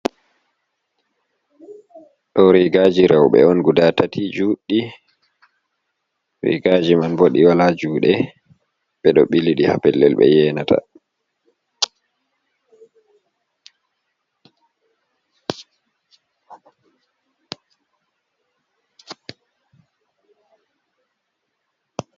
Ɗo rigaji rewbe on guɗa tati jue'ɗi. rigaji man bo ɗi wala juɗe be ɗo biliɗi ha bellel be yenata.